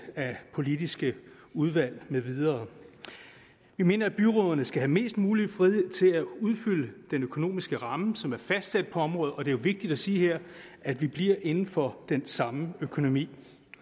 politiske udvalg med videre vi mener at byrådene skal have mest mulig frihed til at udfylde den økonomiske ramme som er fastsat på området og det er jo vigtigt at sige her at vi bliver inden for den samme økonomi